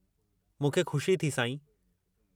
मूंखे ख़ुशी थी, साईं।